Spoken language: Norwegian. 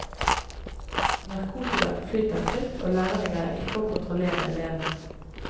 Narkotikaen flyter fritt, og lærerne greier ikke å kontrollere elevene.